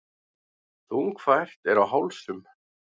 Þungfært er á hálsum.